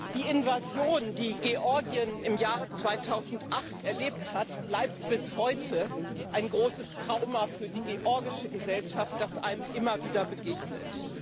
Die Invasion, die Georgien im Jahr 2008 erlebt hat, bleibt bis heute ein großes Trauma für die georgische Gesellschaft, das einem immer wieder begegnet.